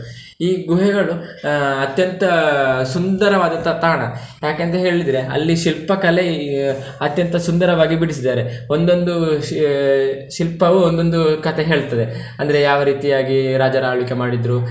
ಈ ಗುಹೆಗಳು ಆಹ್ ಅತ್ಯಂತ ಸುಂದರವಾದಂತಹ ತಾಣ ಯಾಕೆಂತ ಹೇಳಿದ್ರೆ, ಅಲ್ಲಿ ಶಿಲ್ಪ ಕಲೆ ಅತ್ಯಂತ ಸುಂದರವಾಗಿ ಬಿಡಿಸಿದ್ದಾರೆ, ಒಂದೊಂದು ಶಿಲ್ಪವು ಒಂದೊಂದು ಕಥೆ ಹೇಳ್ತದೆ, ಅಂದ್ರೆ ಯಾವ ರೀತಿಯಾಗಿ ರಾಜರು ಆಳ್ವಿಕೆ ಮಾಡಿದ್ರು.